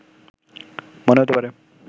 মনে হতে পারে